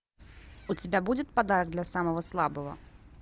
у тебя будет подарок для самого слабого